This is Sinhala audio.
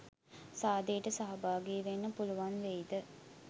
සාදයට සහභාගි වෙන්න පුලුවන් වෙයිද?